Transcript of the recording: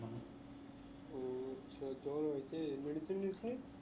ও আচ্ছা জ্বর হয়েছে medicine নিস নি?